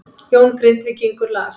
Jón Grindvíkingur las